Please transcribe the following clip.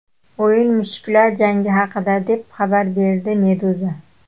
O‘yin mushuklar jangi haqida, deb xabar berdi Meduza.